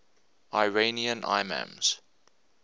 iranian imams